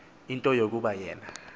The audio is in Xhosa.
into yokuba yena